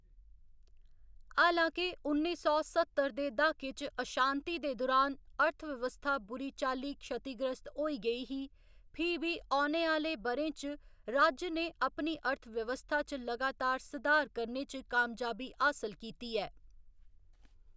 हालां के उन्नी सौ सत्तर दे द्हाके च अशांति दे दुरान अर्थव्यवस्था बुरी चाल्ली क्षतिग्रस्त होई गेई ही, फ्ही बी औने आह्‌‌‌ले ब'रें च राज्य ने अपनी अर्थव्यवस्था च लगातार सधार करने च कामयाबी हासल कीती ऐ।